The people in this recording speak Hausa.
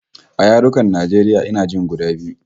A yarukan Najeriya ina jin guda biyu